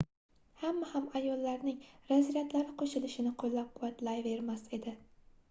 hamma ham ayollarning razryadlari qoʻshilishini qoʻllab-quvvatlayvermas edi